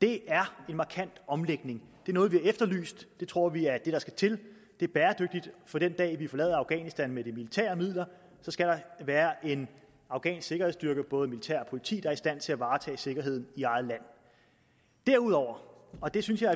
det er en markant omlægning er noget vi har efterlyst det tror vi er det der skal til det er bæredygtigt for den dag vi forlader afghanistan med de militære midler skal der være en afghansk sikkerhedsstyrke både militær og politi er i stand til at varetage sikkerheden i eget land derudover og det synes jeg er